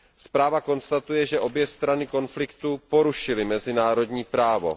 Zpráva konstatuje, že obě strany konfliktu porušily mezinárodní právo.